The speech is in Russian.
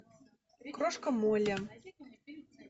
крошка молли